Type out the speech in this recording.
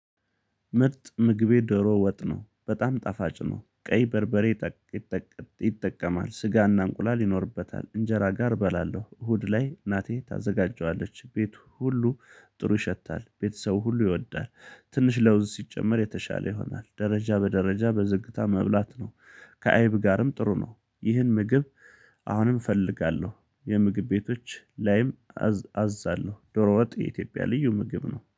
ምርጥ ምግቤ ዶሮ ወጥ ነው በጣም ጣፋጭ ነው ቀይ በርበሬ። ይጠቀማል ስጋና እንቁላል ይኖርበታል እንጀራ ጋር እበላለሁ እሁድ ላይ እናቴ ታዘጋጀዋለች ቤቱ ሁሉ ጥሩ ይሸታል ቤተሰቡ ሁሉ ይወዳል ትንሽ ለውዝ ሲጨመር የተሻለ ይሆናል ደረጃ በደረጃ በዝግታ መብላት ነው። ከአይብ ጋርም ጥሩ ነው ይህን ምግብ። አሁንም እፈልጋለሁ የምግብ ቤቶች ላይም አዛለሁ ዶሮ ወጥ የኢትዮጵያ ልዩ ምግብ ነው